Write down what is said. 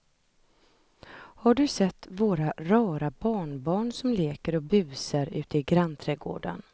Har du sett våra rara barnbarn som leker och busar ute i grannträdgården!